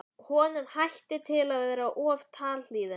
Honum hætti til að vera of talhlýðinn.